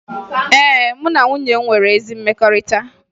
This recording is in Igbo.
Ee, mụ na nwunye m nwere ezi mmekọrịta